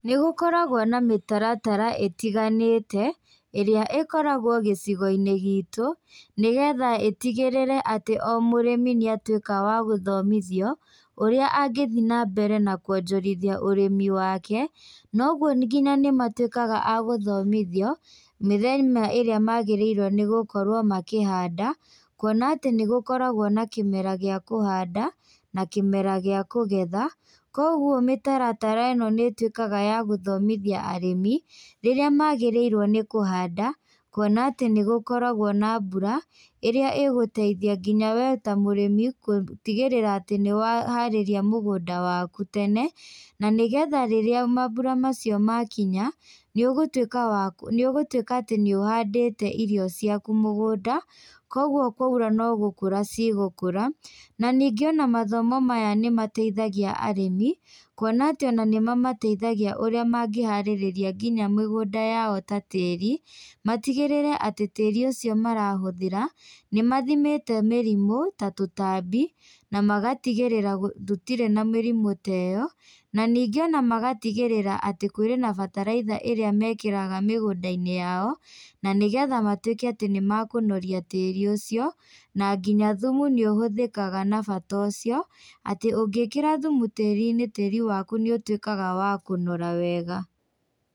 Nĩgũkoragwo na mĩtaratara ĩtiganĩte, ĩrĩa ĩkoragwo gĩcigoinĩ gitũ, nĩgetha ĩtigĩrĩre atĩ o mũrĩmi nĩatuĩka wa gũthomithio, ũrĩa angĩthiĩ nambere na kuonjorithia ũrĩmi wake, na ũguo nginya nĩmatuĩkaga a gũthomithio, mĩthenya ĩrĩa magĩrĩirwo nĩgũkorwo makĩhanda, kuona atĩ nĩgũkoragwo na kĩmera gĩa kũhanda, na kĩmera gĩa kũgetha, koguo mĩtaratara ĩno nĩtuĩkaga ya gũthomithia arĩmi, rĩrĩa magĩrĩirwo nĩ kũhanda, kuona atĩ nĩgũkoragwo na mbura, ĩrĩa ĩgũteithia nginya we ta mũrĩmi, gũtigĩrĩra atĩ nĩwaharĩria mũgũnda waku tene, na nĩgetha rĩrĩa mambũra macio makinya, nĩ ũgũtuĩka wa nĩũgũtuĩka atĩ nĩ ũhandĩte irio ciaku mũgũnda, koguo kwaura no gũkũ cigũkũra, na ningĩ ona mathomo maya nĩmateithagia arĩmi, kuona atĩ ona nĩmamateithagia ũrĩa mangĩharĩrĩria nginya mĩgũnda yao ta tĩrĩ, matigĩrĩre atĩ tĩri ũcio marahũthĩra, nĩmathimĩte mĩrimũ, ta tũtambi, na magatigĩrĩra gũ gũtirĩ ta mĩrimũ ta ĩyo, na ningĩ ona magatigĩrĩra atĩ kũrĩ na bataraitha ĩrĩa mekĩraga mĩgũndainĩ yao, na nĩgetha matuĩke atĩ nĩmakũnoria tĩri ũcio, na nginya thumu nĩ ũhũthĩkaga na bata ũcio, atĩ ũngĩkĩra thumu tĩrinĩ, tĩri waku nĩũtuĩkaga wa kũnora wega.